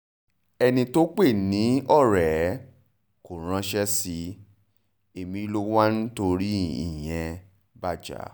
ẹni tó o pè ní ọ̀rẹ́ ẹ kò ránṣẹ́ sí ẹ ẹ̀mí lo wá ń torí ìyẹn bá jà